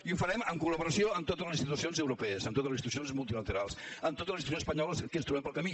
i ho farem en col·laboració amb totes les institucions europees amb totes les institucions multilaterals amb totes les institucions espanyoles que ens trobem pel camí